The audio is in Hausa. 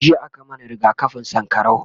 jiya a ka mana rigakafin sankarau